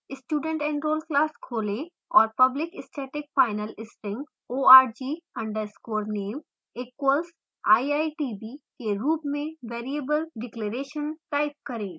studentenroll class खोलें और public static final string org _ name = iitb; के रूप में variable declaration type करें